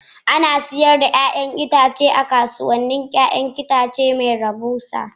Ana sayar da 'ya'yan itatuwa a kasuwannin 'ya'yan itace mai rahusa